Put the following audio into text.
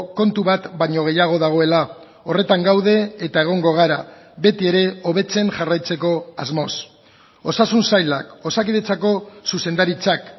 kontu bat baino gehiago dagoela horretan gaude eta egongo gara beti ere hobetzen jarraitzeko asmoz osasun sailak osakidetzako zuzendaritzak